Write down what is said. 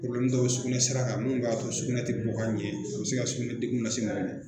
dɔw bɛ sugunɛsira ka minnu b'a to sugunɛ tɛ bɔ ka ɲɛ a bɛ se ka sugunɛ degun lase mɔgɔ ma